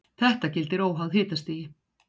þetta gildir óháð hitastigi